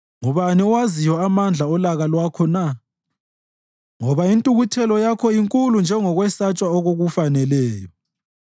Ngubani owaziyo amandla olaka lwakho na? Ngoba intukuthelo yakho inkulu njengokwesatshwa okukufaneleyo.